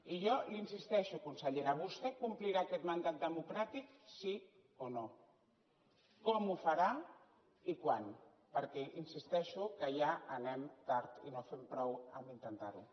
i jo insisteixo consellera vostè complirà aquest mandat democràtic sí o no com ho farà i quan perquè hi insisteixo ja anem tard i no fem prou amb el fet d’intentar ho